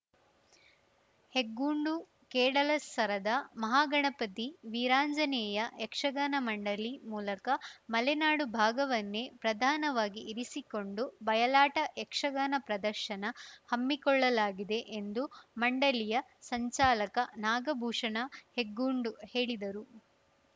ಹೆಗ್ಗೋಡುಕೇಡಲಸರದ ಮಹಾಗಣಪತಿ ವೀರಾಂಜನೇಯ ಯಕ್ಷಗಾನ ಮಂಡಳಿ ಮೂಲಕ ಮಲೆನಾಡು ಭಾಗವನ್ನೇ ಪ್ರಧಾನವಾಗಿ ಇರಿಸಿಕೊಂಡು ಬಯಲಾಟ ಯಕ್ಷಗಾನ ಪ್ರದರ್ಶನ ಹಮ್ಮಿಕೊಳ್ಳಲಾಗಿದೆ ಎಂದು ಮಂಡಳಿಯ ಸಂಚಾಲಕ ನಾಗಭೂಷಣ ಹೆಗ್ಗೋಡು ಹೇಳಿದರು